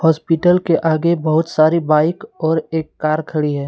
Hospital के आगे बहुत सारी बाइक और एक कार खड़ी है।